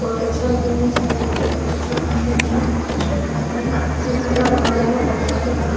बहोत अच्छा लग रहे हैं सारे बच्चे बहोत अच्छा काम कर रहे हैं मत पूछिए अपने-आप में काला बना रहे हैं बहोत सुंदर काम --